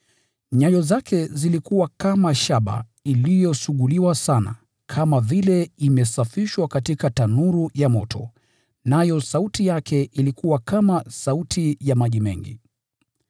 Nyayo zake zilikuwa kama shaba inayongʼaa, katika tanuru ya moto, nayo sauti yake ilikuwa kama mugurumo ya maji mengi.